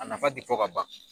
A nafa ti fɔ ka ban.